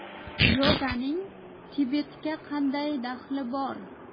Yoganing Tibetga qanday daxli bor?